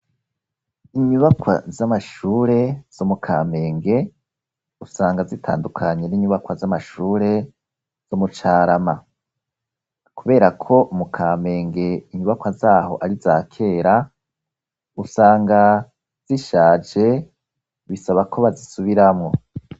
Inyubakwa z'amashure zo mu Kamenge usanga zitandukanye n'inyubakwa z'amashure zo mu Carama. Kubera ko mu Kamenge inyubakwa zaho ari izakera, usanga zishaje, bisaba ko bazisubiramwo.